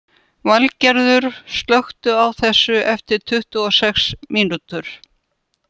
Valgerður, slökktu á þessu eftir tuttugu og sex mínútur.